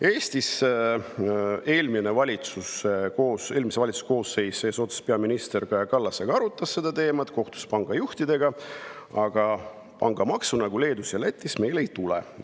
Eestis arutas eelmise valitsuse koosseis eesotsas peaminister Kaja Kallasega seda teemat, kohtus pangajuhtidega, aga pangamaksu nagu Leedus ja Lätis meil ei tule.